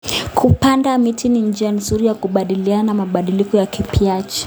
Kupanda miti ni njia nzuri ya kukabiliana na mabadiliko ya tabianchi.